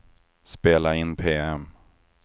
spela in PM